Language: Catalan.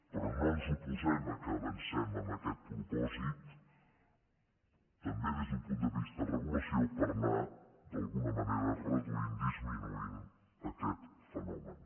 però no ens oposem que avancem en aquest propòsit també des d’un punt de vista de regulació per anar d’alguna manera reduint disminuint aquest fenomen